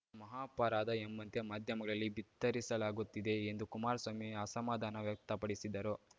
ಮಹಾಪರಾಧ ಎಂಬಂತೆ ಮಾಧ್ಯಮಗಳಲ್ಲಿ ಬಿತ್ತರಿಸಲಾಗುತ್ತಿದೆ ಎಂದು ಕುಮಾರಸ್ವಾಮಿ ಅಸಮಾಧಾನ ವ್ಯಕ್ತಪಡಿಸಿದರು